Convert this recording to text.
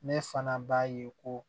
Ne fana b'a ye ko